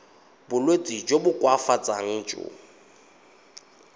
bolwetsi jo bo koafatsang jo